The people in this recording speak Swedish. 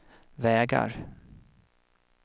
vägar